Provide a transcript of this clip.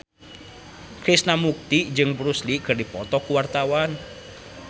Krishna Mukti jeung Bruce Lee keur dipoto ku wartawan